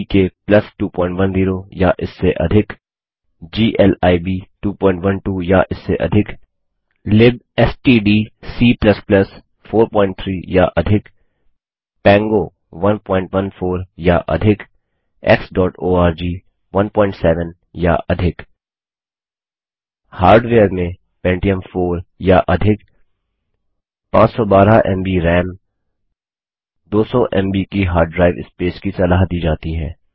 GTK 210 या इससे अधिक ग्लिब 212 या इससे अधिक libstdc 43 या अधिक पैंगो 114 या अधिक xओआरजी 17 या अधिक हार्डवेयर में पेंटियम 4 या अधिक 512एमबी राम 200एमबी की हार्डड्राईव स्पेस की सलाह दी जाती है